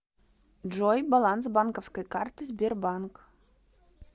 джой баланс банковской карты сбербанк